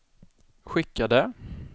skickade